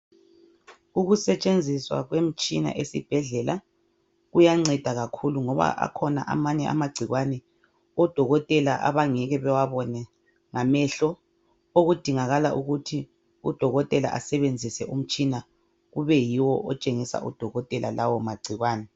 Ukusetshenziswa kwemitshina esibhedlela kuyanceda kakhulu ngoba akhona amanye amagcikwane odokotela abangeke bewabone ngamehlo okudingakala ukuthi udokotela asebenzisa umtshina kube yiwo otshengisa udokotela lawo magcikwane.